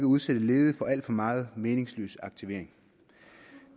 udsætte ledige for alt for meget meningsløs aktivering